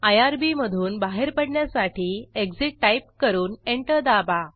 IRB मधून बाहेर पडण्यासाठी एक्सिट टाईप करून एंटर दाबा